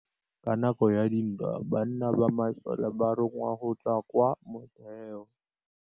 Ka nakô ya dintwa banna ba masole ba rongwa go tswa kwa mothêô.